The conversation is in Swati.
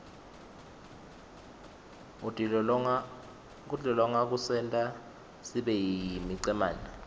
kutilolonga kusenta sibeyimicemene